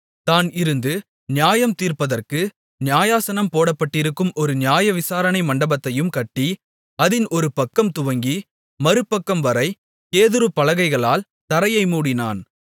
தான் இருந்து நியாயம் தீர்ப்பதற்கு நியாயாசனம் போடப்பட்டிருக்கும் ஒரு நியாய விசாரணை மண்டபத்தையும் கட்டி அதின் ஒரு பக்கம் துவங்கி மறுபக்கம்வரை கேதுரு பலகைகளால் தரையை மூடினான்